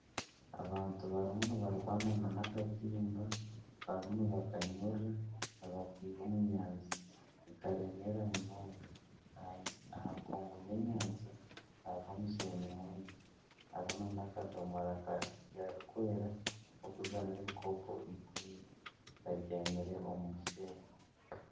Abantu barimu nibarwana nana akatimba ,barimu nibakanyurura nibakeiha omu nyanja nikaremeera munonga, aha nkungu y'enyanja hariho omusheenyi mwingi hariho nana akadomora karikwera karikuzamu ebikopo ikumi kabyamire omu musheenyi.